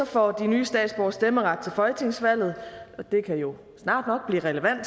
får de nye statsborgere stemmeret til folketingsvalget det kan jo snart nok blive relevant og